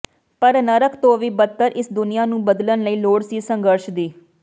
ਪਰ ਨਰਕ ਤੋਂ ਵੀ ਬਦਤਰ ਇਸ ਦੁਨੀਆ ਨੂੰ ਬਦਲਣ ਲਈ ਲੋੜ ਸੀ ਸੰਘਰਸ਼ ਦੀ